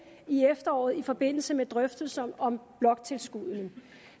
i efteråret i forbindelse med drøftelsen om bloktilskuddene